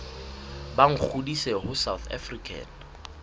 ba ngodise ho south african